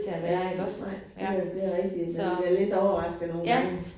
Er som nej det er det er rigtigt man bliver lidt overrasket nogle gange